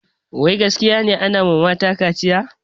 Wai gaskiya ne anawa mata kaciya?